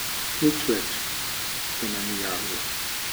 Nič več se nam ni javila.